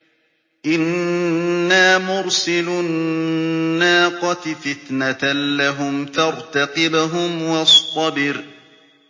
إِنَّا مُرْسِلُو النَّاقَةِ فِتْنَةً لَّهُمْ فَارْتَقِبْهُمْ وَاصْطَبِرْ